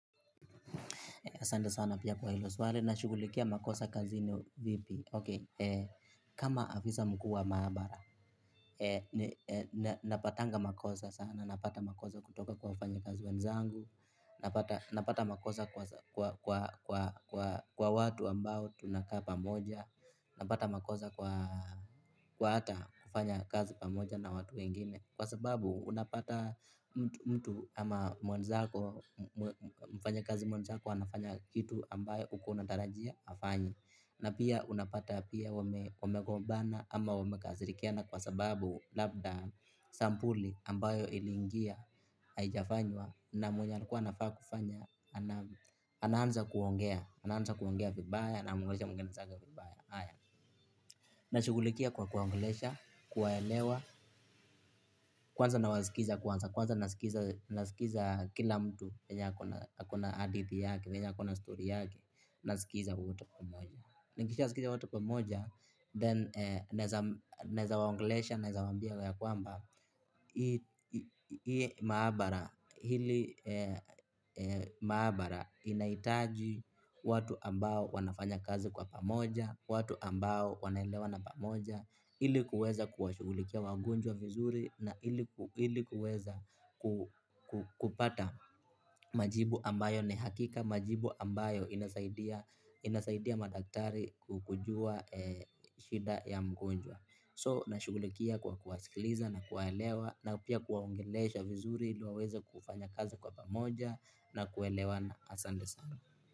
Asante sana pia kwa hilo swali, "Nashugulikia makosa kazini vipi?". "Okay", kama afisa mkuu wa maabara, napatanga makosa sana, napata makosa kutoka kwa wafanyakazi wenzangu, napata makosa kwa kwa watu ambao tunakaa pamoja, napata makosa kwa hata kufanya kazi pamoja na watu wengine. Kwa sababu unapata mtu ama mwenzako, mfanyakazi mwenzako, anafanya kitu ambayo ukuwa unatarajia, afanye. Na pia unapata pia wamegombana ama wamekasirikiana kwa sababu labda sampuli ambayo ilingia, haijafanywa. Na mwenye alikuwa anafaa kufanya, anaanza kuongea, anaanza kuongea vibaya anaongelesha mwenzake vibaya. Nashugulikia kwa kuwaonglesha, kuwaelewa, kwanza nawaskiza kwanza, kwanza naskiza kila mtu venye akona hadithi yake, venya akona stori yake, naskiza wote pamoja. Nikishaskiza wote pamoja, "then" naweza naweza waongelesha, naweza waambia ya kwamba iye maabara, ili--, maabara inaitaji watu ambao wanafanya kazi kwa pamoja, watu ambao wanaelewana pamoja ili kuweza kuwashugulikia wagonjwa vizuri, na ili kuweza kupata majibu ambayo ni hakika, majibu ambayo inasaidia inasaidia madaktari kujua shida ya mgonjwa. "So", nashugulikia kwa kuwasikiliza na kuwaelewa, na pia kuwaongelesha vizuri ili waweza kufanya kazi kwa pamoja na kuelewana. Asante sana.